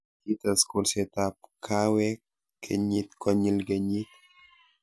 kites kolsetab kaawek kenyit konyil kenyit